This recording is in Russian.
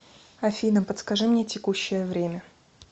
афина подскажи мне текущее время